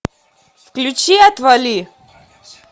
включи отвали